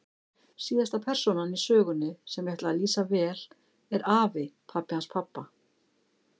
Síðasta persónan í sögunni, sem ég ætla að lýsa vel, er afi, pabbi hans pabba.